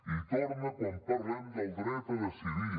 i hi torna quan parlem del dret a decidir